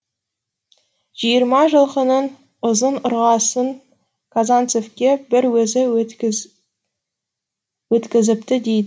жиырма жылқының ұзын ырғасын казанцевке бір өзі өткізіпті дейді